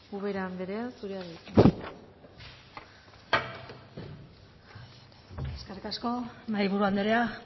ubera andrea zurea da hitza eskerrik asko mahaiburu andrea